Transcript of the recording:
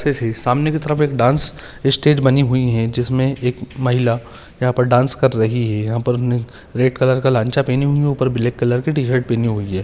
जैसे सामने की तरफ एक डांस इस्टेज बनी हुई है जिसमे एक महिला यहा पर डांस कर रही है यहा पर रेड कलर का लांचा पेहनी हुई है ऊपर ब्लॅक कलर की टी शर्ट पहनी हुई है।